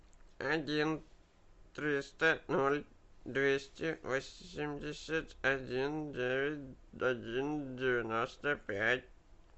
один триста ноль двести восемьдесят один девять один девяносто пять